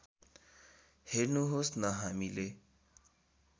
हेर्नुहोस् न हामीले